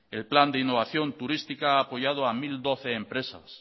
el plan de innovación turística ha apoyado a mil doce empresas